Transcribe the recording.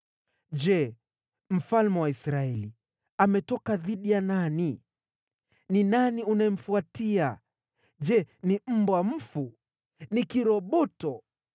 “Je, mfalme wa Israeli ametoka dhidi ya nani? Ni nani unayemfuatia? Je, ni mbwa mfu? Ni kiroboto?